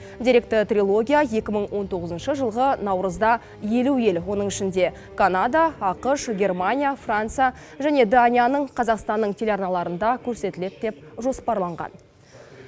деректі трилогия екі мың он тоғызыншы жылғы наурызда елу ел оның ішінде канада ақш германия франция және данияның қазақстанның телеарналарында көрсетіледі деп жоспарланған